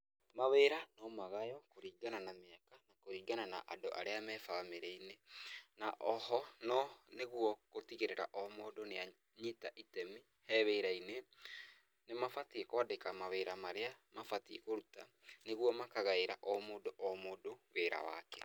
Mawĩra no magayo kũringana na, kũringana na andũ arĩa me bamĩrĩ-inĩ. Na o ho no nĩguo gũtigĩrĩra o mũndũ nĩ anyita itemi he wĩra-inĩ, nĩ mabatiĩ kũandĩka mawĩra marĩa mabatiĩ kũruta nĩguo makagaĩra o mũndũ o mũndũ wĩra wake.